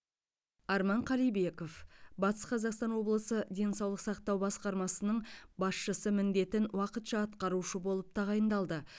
арман қалибеков батыс қазақстан облысы денсаулық сақтау басқармасының басшысы міндетін уақытша атқарушы болып тағайындалды